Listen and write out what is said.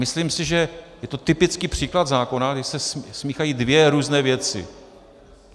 Myslím si, že je to typický příklad zákona, kdy se smíchají dvě různé věci.